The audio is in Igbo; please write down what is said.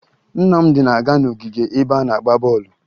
Nnamdị na-aga n'ogige ebe a na-agba bọọlụ